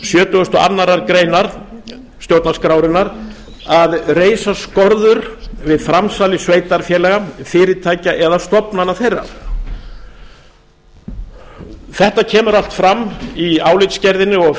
sjötugustu og aðra grein stjórnarskrárinnar að reifa skorður við framsali sveitarfélaga fyrirtækja eða stofnana þeirra þetta kemur allt fram í álitsgerðinni og